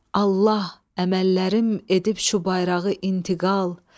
Allah əməllərim edib şu bayrağı intiqal.